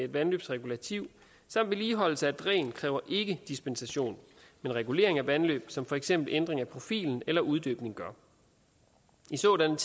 vandløbsregulativet samt vedligeholdelse af dræn kræver ikke dispensation men regulering af vandløb som for eksempel ændring af profilen eller uddybning gør i sådanne